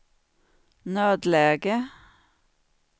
nödläge